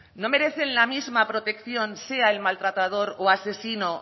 no merecen la misma protección sea el maltratador o asesino